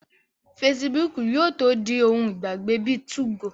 Fesibúùkù yóò tó di ohun ìgbàgbé bíi 2go